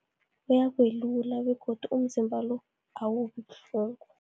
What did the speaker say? Uyakwelula begodu umzimba lo, awubi buhlungu.